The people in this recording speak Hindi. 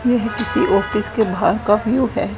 यह किसी ऑफिस के बाहर का व्यू है।